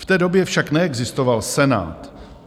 V té době však neexistoval Senát.